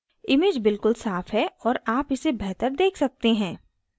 image बिल्कुल साफ़ है और आप इसे बेहतर देख सकते हैं